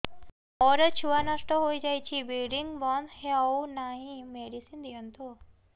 ମୋର ଛୁଆ ନଷ୍ଟ ହୋଇଯାଇଛି ବ୍ଲିଡ଼ିଙ୍ଗ ବନ୍ଦ ହଉନାହିଁ ମେଡିସିନ ଦିଅନ୍ତୁ